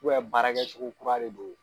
baarakɛ cogoya kura de don.